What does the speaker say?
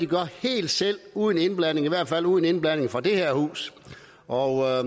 gør helt selv uden indblanding i hvert fald uden indblanding fra det her hus og